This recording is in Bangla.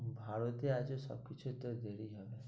ভারতে আছো সব কিছু একটু দেরি ই হবে,